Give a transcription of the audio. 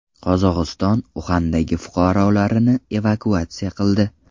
Qozog‘iston Uxandagi fuqarolarini evakuatsiya qildi.